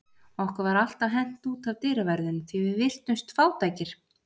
Okkur var alltaf hent út af dyraverðinum því við virtumst fátækir.